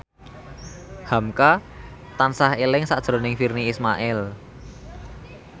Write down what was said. hamka tansah eling sakjroning Virnie Ismail